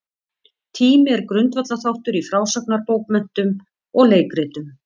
Tími er grundvallarþáttur í frásagnarbókmenntum og leikritum.